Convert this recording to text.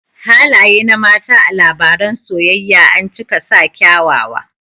Halaye na mata a labaran soyayya ancika sa kyawawa